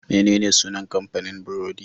Menene sunan kamfanin burodi?